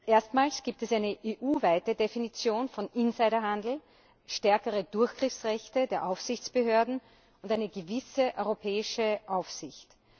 Erstmals gibt es eine EU weite Definition von Insider Handel, stärkere Durchgriffsrechte der Aufsichtsbehörden und eine gewisse europäische Aufsicht.